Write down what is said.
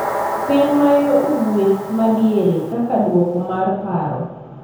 e piny ma yo ugwe' ma diere kaka duoko mar paro